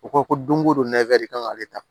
U ko ko don ko don nɛfɛri kan ka kɛ tan